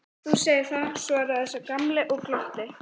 Þú segir það, svaraði sá gamli og glotti.